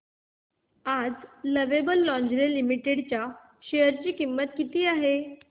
आज Lovable Lingerie Limited च्या share ची किंमत किती आहे